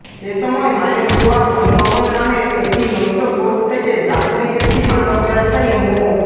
এসময় মায়ের দোয়া পরিবহন নামের একটি নৈশ কোচ থেকে যাত্রীবেশী মাদক ব্যবসায়ী মো